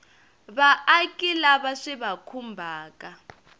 vaaki lava swi va khumbhaka